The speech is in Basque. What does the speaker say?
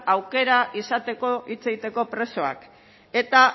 aukera izateko hitz egiteko presoak eta